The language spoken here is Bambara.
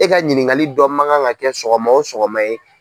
E ka ɲininkali dɔ man kan ka kɛ sɔgɔma o sɔgɔma ye.